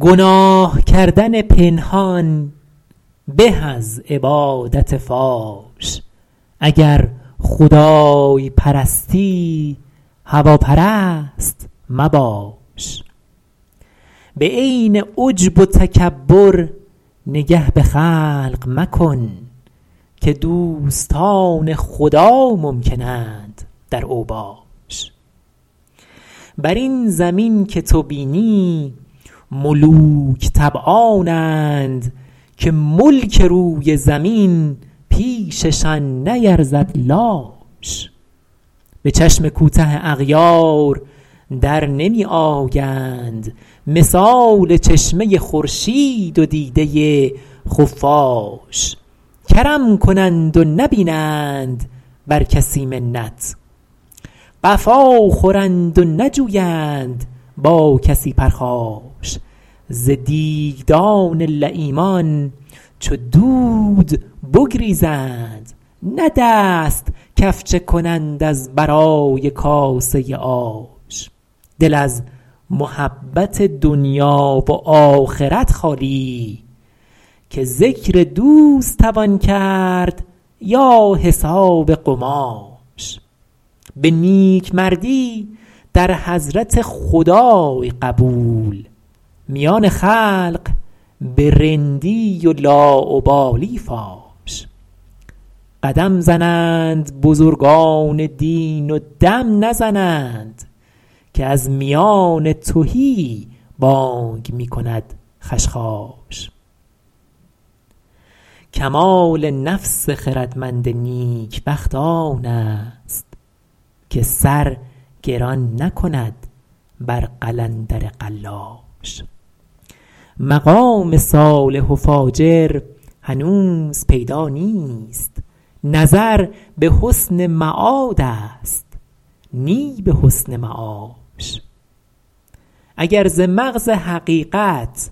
گناه کردن پنهان به از عبادت فاش اگر خدای پرستی هواپرست مباش به عین عجب و تکبر نگه به خلق مکن که دوستان خدا ممکن اند در اوباش بر این زمین که تو بینی ملوک طبعانند که ملک روی زمین پیششان نیرزد لاش به چشم کوته اغیار در نمی آیند مثال چشمه خورشید و دیده خفاش کرم کنند و نبینند بر کسی منت قفا خورند و نجویند با کسی پرخاش ز دیگدان لییمان چو دود بگریزند نه دست کفچه کنند از برای کاسه آش دل از محبت دنیا و آخرت خالی که ذکر دوست توان کرد یا حساب قماش به نیکمردی در حضرت خدای قبول میان خلق به رندی و لاابالی فاش قدم زنند بزرگان دین و دم نزنند که از میان تهی بانگ می کند خشخاش کمال نفس خردمند نیکبخت آن است که سر گران نکند بر قلندر قلاش مقام صالح و فاجر هنوز پیدا نیست نظر به حسن معاد است نی به حسن معاش اگر ز مغز حقیقت